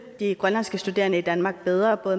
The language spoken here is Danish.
de grønlandske studerende i danmark bedre for